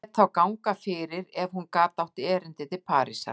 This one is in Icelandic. Lét þá ganga fyrir ef hún gat átt erindi til Parísar.